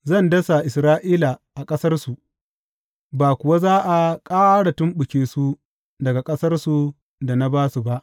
Zan dasa Isra’ila a ƙasarsu, ba kuwa za a ƙara tumɓuke su daga ƙasar da na ba su ba,